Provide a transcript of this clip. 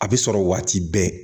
A bɛ sɔrɔ waati bɛɛ